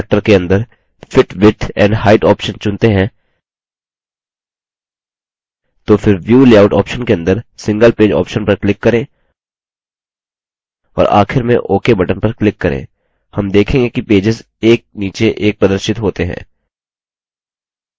उदाहरणस्वरूप यदि हम zoom factor के अंदर fit width and height option चुनते हैं तो फिर view layout option के अंदर single page option पर click करें और आखिर में ok button पर click करें हम देखेंगे कि पेजेस एक नीचे एक प्रदर्शित होते हैं